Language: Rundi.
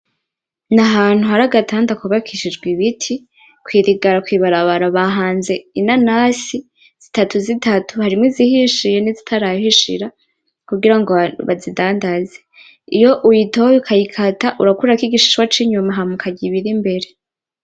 N’ahantu hari agatanda kubakishijwe ibiti kwirigara kw’ ibarabara bahanze inanasi zitatu zitatu harimwo izihishiye nizitarahishira kugirango bazidandaze iyo uyitoye ukayikata urakuraho igishishwa kinyuma hama ukarya ibirimbere.